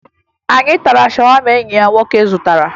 Anyị tara shawama enyi ya nwoke zụtara